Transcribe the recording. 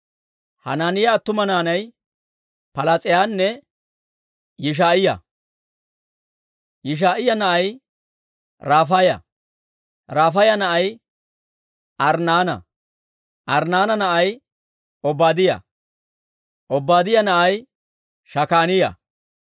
Hanaaniyaa attuma naanay Palaas'iyaanne Yishaa'iyaa. Yishaa'iyaa na'ay Rafaaya; Rafaaya na'ay Arnnaana; Arnnaana na'ay Obaadiyaa; Obaadiyaa na'ay Shakaaniyaa;